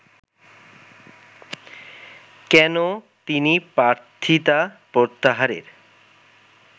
কেন তিনি প্রার্থিতা প্রত্যাহারের